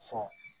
Fɔ